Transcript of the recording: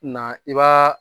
Na i b'a